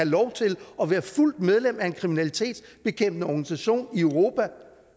lov til at være fuldt medlem af en kriminalitetsbekæmpende organisation i europa